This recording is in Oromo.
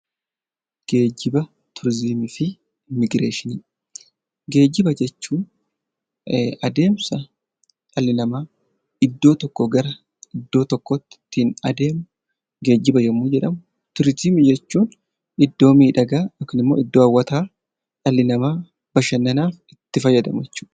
Geejjiba jechuun adeemsa dhalli namaa iddoo tokkoo gara iddoo tokkootti ittiin adeemu geejjiba yommuu jedhamu turizimii jechuun iddoo miidhagaa yookaan immoo iddoo hawwataa dhalli namaa bashannanaaf itti fayyadamu jechuudha.